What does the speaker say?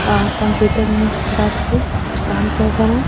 और कंप्यूटर में बैठ के कुछ काम कर रहा है।